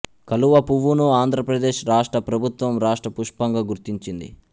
కలువ పువ్వును ఆంధ్రప్రదేశ్ రాష్ట్ర ప్రభుత్వం రాష్ట్ర పుష్పంగా గుర్తించింది